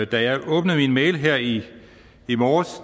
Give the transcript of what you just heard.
da jeg åbnede min mail her i morges